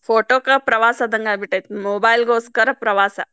Photo ಕ್ ಪ್ರವಾಸ ಆದಂಗ ಆಗಿಬಿಟ್ಟೆತಿ mobile ಗೋಸ್ಕರ ಪ್ರವಾಸ.